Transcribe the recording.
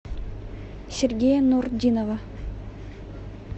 сергея нуртдинова